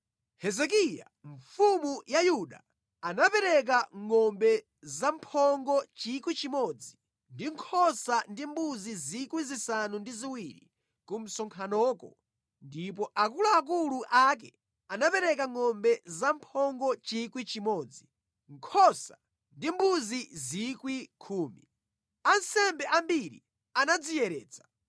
Hezekiya mfumu ya Yuda anapereka ngʼombe zamphongo 1,000 ndi nkhosa ndi mbuzi 7,000 ku msonkhanoko ndipo akuluakulu ake anapereka ngʼombe zamphongo 1,000, nkhosa ndi mbuzi 10,000. Ansembe ambiri anadziyeretsa.